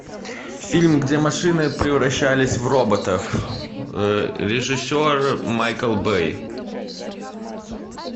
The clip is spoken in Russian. фильм где машины превращались в роботов режиссер майкл бэй